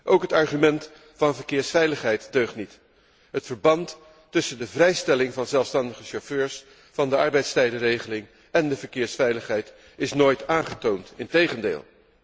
Ook het argument van verkeersveiligheid deugt niet. Het verband tussen de vrijstelling van zelfstandige chauffeurs van de arbeidstijdenregeling en de verkeersveiligheid is nooit aangetoond, integendeel.